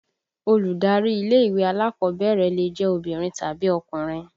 Olùdarí ilé ìwé alákọ̀ọ́bẹ̀rẹ̀ lè jẹ́ obìnrin tàbí ọkùnrin